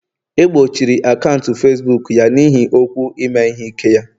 egbochiri akaụntụ Facibuku ya n'ihi okwu ime ihe ike ya